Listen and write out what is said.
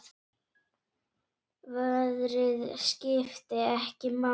Veðrið skiptir ekki máli.